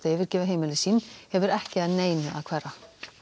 yfirgefa heimili sín vegna hefur ekki að neinu að hverfa